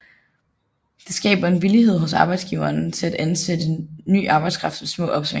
Det skaber en villighed hos arbejdsgiverne til at ansætte ny arbejdskraft ved små opsving